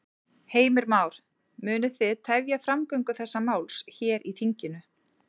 Heimir Már: Munu þið tefja framgöngu þessa máls hér í þinginu?